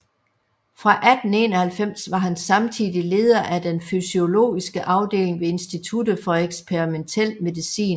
Fra 1891 var han samtidig leder af den fysiologiske afdeling ved instituttet for eksperimentel medicin